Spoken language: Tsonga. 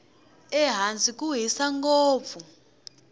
ehansi ku hisa ngopfu